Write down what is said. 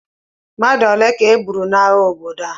Mmadụ ole ka e gburu n'agha obodo a?